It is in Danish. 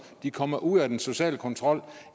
kommer ud af den sociale kontrol